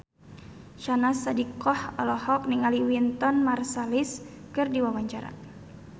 Syahnaz Sadiqah olohok ningali Wynton Marsalis keur diwawancara